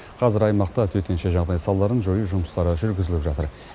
қазір аймақта төтенше жағдай салдарын жою жұмыстары жүргізіліп жатыр